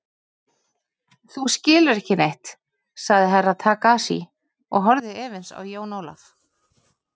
Þú skilur ekki neitt, sagði Herra Takashi og horfði efins á Jón Ólaf.